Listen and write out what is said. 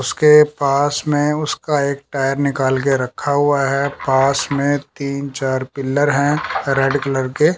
उसके पास में उसका एक टायर निकल के रखा हुआ है पास में तीन चार पिलर हैं रेड कलर के।